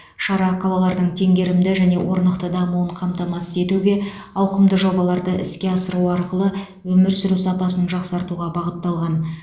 шара қалалардың теңгерімді және орнықты дамуын қамтамасыз етуге ауқымды жобаларды іске асыру арқылы өмір сүру сапасын жақсартуға бағытталған